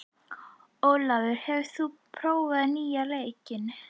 Ólafur, hefur þú prófað nýja leikinn?